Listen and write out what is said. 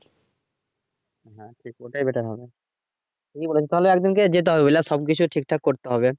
হ্যাঁ ঠিক ওটাই বেটার হবে ঠিকই বলেছো তাহলে একজনকে যেতে হবে ওগুলা সব বিষয় ঠিকঠাক করতে হবে।